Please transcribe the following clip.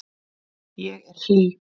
Ég er hlý.